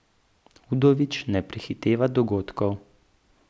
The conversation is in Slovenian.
Udovič ne prehiteva dogodkov.